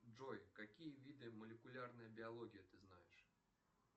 джой какие виды молекулярной биологии ты знаешь